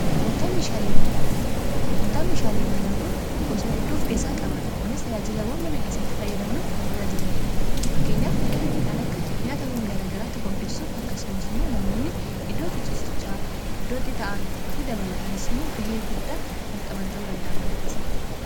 gurgurtaa meeshaalee manaa kun gosaa iddoof keessaa qabaata kunis ajaajilawwan mana kessatti fayyadamnu kan tajaajidaniidha fakkeenyaaf kan akka nyaatawwan gaara garaatti qopheessuuf akkasumas immoo namoonni iddooti cisichaa iddootti ta'an fi dabalataanis immoo ga'ee guddaa kan qaban ta'uu danda'a mana keessatti